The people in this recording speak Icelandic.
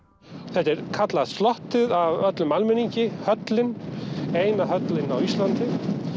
þetta er kallað af öllum almenningi höllin eina höllin á Íslandi